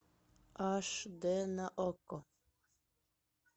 аш дэ на окко